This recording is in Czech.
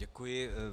Děkuji.